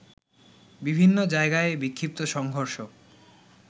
বিভিন্ন জায়গায় বিক্ষিপ্ত সংঘর্ষ